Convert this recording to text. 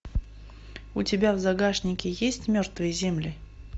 у тебя в загашнике есть мертвые земли